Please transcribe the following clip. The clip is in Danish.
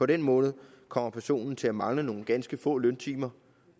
den måned kommer personen til at mangle nogle ganske få løntimer